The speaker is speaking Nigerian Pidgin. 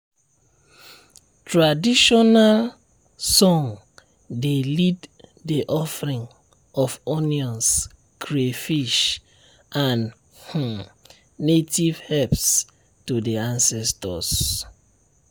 traditional song dey lead the offering of onions crayfish and um native herbs to the ancestors. um